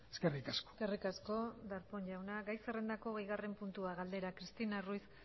eskerrik asko eskerrik asko darpón jauna gai zerrendako hogeigarren puntua galdera cristina ruiz